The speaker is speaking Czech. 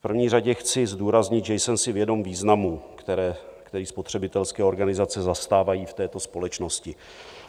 V první řadě chci zdůraznit, že jsem si vědom významu, který spotřebitelské organizace zastávají v této společnosti.